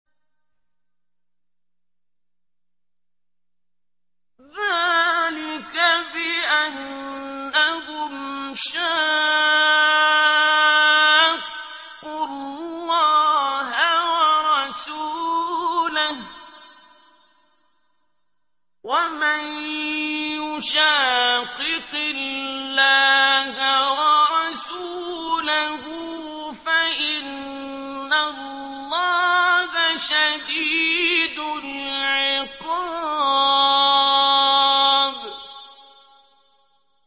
ذَٰلِكَ بِأَنَّهُمْ شَاقُّوا اللَّهَ وَرَسُولَهُ ۚ وَمَن يُشَاقِقِ اللَّهَ وَرَسُولَهُ فَإِنَّ اللَّهَ شَدِيدُ الْعِقَابِ